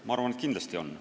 Ma arvan, et kindlasti on.